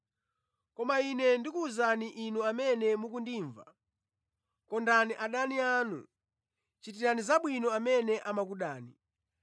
“Koma Ine ndikuwuza inu amene mukundimva: Kondani adani anu, chitirani zabwino amene amakudani.